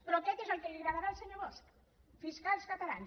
però aquest és el que li agradarà al senyor bosch fiscals catalans